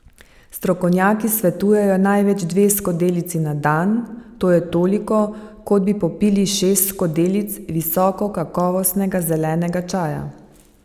Strokovnjaki svetujejo največ dve skodelici na dan, to je toliko, kot bi popili šest skodelic visokokakovostnega zelenega čaja.